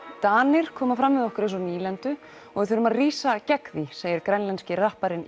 Danir koma fram við okkur eins og nýlendu og við þurfum að rísa gegn því segir grænlenski rapparinn